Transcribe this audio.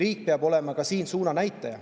Riik peab olema ka siin suunanäitaja.